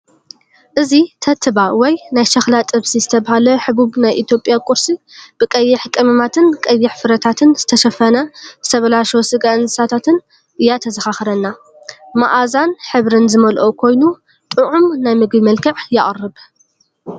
እዚ "ተትባ/ናይ ሸኽላ ጥብሲ" ዝተባህለ ሕቡብ ናይ ኢትዮጵያ ቁርሲ ብቀይሕ ቀመማትን ቀይሕ ፍረታትን ዝተሸፈነ ዝተበላሸወ ስጋ እንስሳታት እያ ዘዘኻኽረና። መኣዛን ሕብርን ዝመልአ ኮይኑ፡ ጥዑም ናይ ምግቢ መልክዕ የቕርብ።